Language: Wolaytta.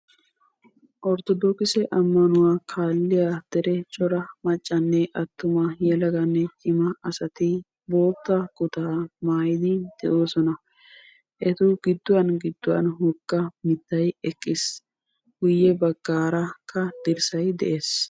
Orttodokisse ammanuwa kaalliya daro cora maccanne attuma, yelaganne cimaa asati bootta kuttaa maayyidi de"oosona. Etu gidduwan gidduwan woga mittay eqqiis. Guyye baggaarakka dirssay de'ees.